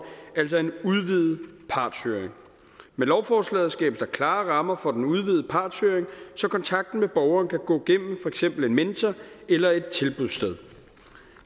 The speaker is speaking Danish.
altså en udvidet partshøring med lovforslaget skabes der klare rammer for den udvidede partshøring så kontakten med borgeren kan gå gennem eksempel en mentor eller et tilbudssted